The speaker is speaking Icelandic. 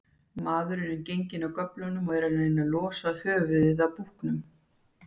Maðurinn er genginn af göflunum og er að reyna losa höfuðið af búknum.